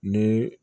Ni